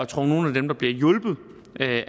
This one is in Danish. tror nogle af dem der bliver hjulpet